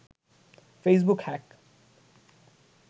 Facebook hack